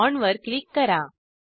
बॉण्डवर क्लिक करा